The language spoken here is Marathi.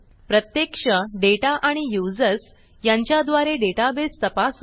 प्रत्यक्ष डेटा आणि युजर्स यांच्या द्वारे डेटाबेस तपासू